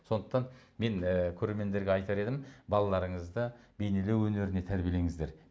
сондықтан мен і көрермендерге айтар едім балаларыңызды бейнелеу өнеріне тәрбиелеңіздер